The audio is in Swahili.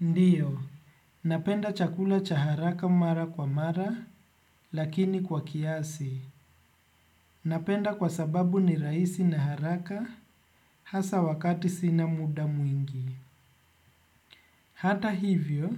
Ndiyo, napenda chakula cha haraka mara kwa mara lakini kwa kiasi. Napenda kwa sababu ni rahisi na haraka hasa wakati sina muda mwingi. Hata hivyo,